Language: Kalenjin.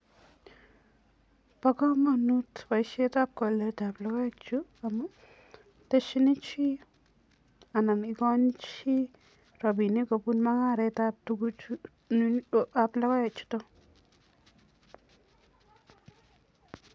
Bo kamanut boisietab koletab logoechu amun teshinichi anan ikoni chi rapinik kobun mungaretab tuguchuab logoek chuto.